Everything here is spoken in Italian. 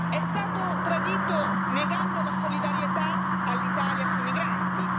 È stato tradito negando la solidarietà all'Italia sui migranti.